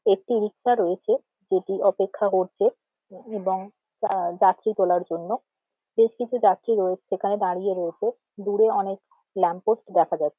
একটি রিক্সা রয়েছে যেটি অপেক্ষা করছে্এ‌বং যাত্রী তোলার জন্য বেশ যাত্রী রয়েছে সেখানে দাঁড়িয়ে আছে দূরে অনেক ল্যাম্প পোস্ট দেখা যাচ্ছে।